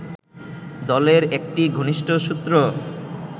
দলের একটি ঘনিষ্ঠ সূত্র